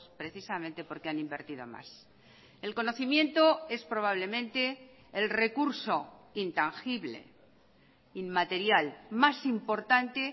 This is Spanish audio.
precisamente porque han invertido más el conocimiento es probablemente el recurso intangible inmaterial más importante